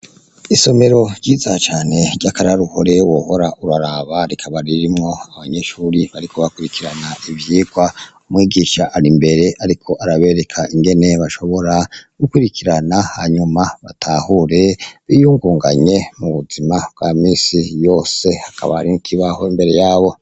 Isomero ryiza cane ry'akararuhore wohora uraraba, rikaba ririmwo abanyeshure bariko bakurikirana ivyigwa ,umwigisha ari imbere ariko arabereka ingene bashobora gukurikirana hanyuma batahure biyungunganye mu buzima bwa misi yose ,hakaba hari n'ikibaho imbere yabo.